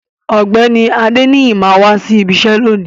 Ògbéni Adeniyi ma wa sí ìbi iṣẹ lóni.